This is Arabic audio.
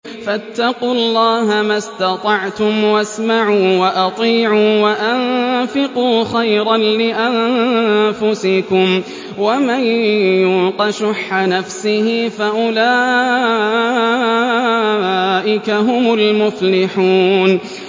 فَاتَّقُوا اللَّهَ مَا اسْتَطَعْتُمْ وَاسْمَعُوا وَأَطِيعُوا وَأَنفِقُوا خَيْرًا لِّأَنفُسِكُمْ ۗ وَمَن يُوقَ شُحَّ نَفْسِهِ فَأُولَٰئِكَ هُمُ الْمُفْلِحُونَ